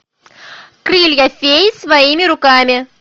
крылья феи своими руками